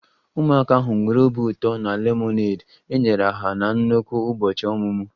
Ụmụaka ahụ nwere obi ụtọ na lemonade enyere ha na nnọkọ ụbọchị ọmụmụ